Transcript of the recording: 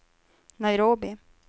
Nairobi